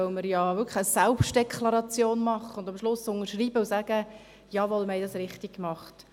Dies, weil wir ja wirklich eine Selbstdeklaration machen, am Ende unterschreiben und bestätigen: Jawohl, wir haben es richtig gemacht.